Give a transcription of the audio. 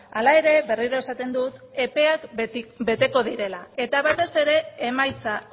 hala ere berriro esaten dut epeak beteko direla eta batez ere emaitza